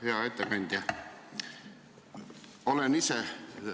Hea ettekandja!